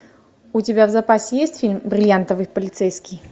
у тебя в запасе есть фильм бриллиантовый полицейский